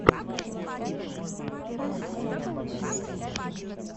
лучшая серия фарруко виво